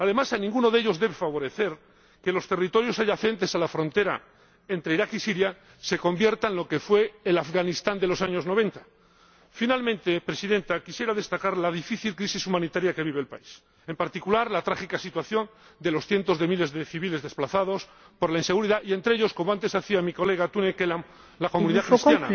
Además, a ninguno de ellos debe de favorecer que los territorios adyacentes a la frontera entre Irak y Siria se conviertan en lo que fue el Afganistán de los años 90. Finalmente, Presidenta, quisiera destacar la difícil crisis humanitaria que vive el país, en particular la trágica situación de los cientos de miles de civiles desplazados por la inseguridad, y, entre ellos —como antes señalaba mi colega Tunne Kelam—, la comunidad cristiana,